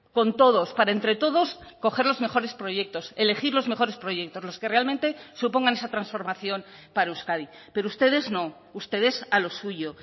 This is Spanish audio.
con todos para entre todos coger los mejores proyectos elegir los mejores proyectos los que realmente supongan esa transformación para euskadi pero ustedes no ustedes a lo suyo